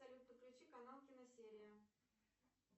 салют подключи канал киносерия